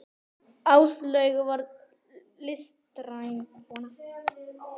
Áslaug var listræn kona.